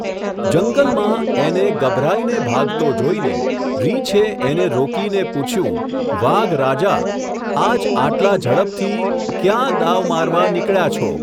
જંગલમાં, એને, ગભરાઈને ભાગતો જોઈને, રીંછે એને રોકીને પૂછ્યું, વાઘ રાજા, આજ આટલા ઝડપથી, ક્યાં, દાવ મારવા, નીકળ્યા છો?.